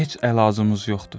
Heç əlacımız yoxdur.